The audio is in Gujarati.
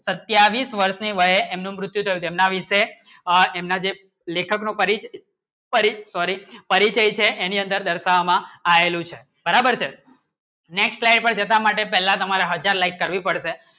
સાતવીસ વર્ષે એનું મૃત્યુદર તેમના વિશે એમના જે લેખક નો પરિચિત પરિચય છે એની અંદર દર્શાવવામાં આવેલું છે બરાબર છે next like છે પહેલા તમારા હાજર like કરવી પડશે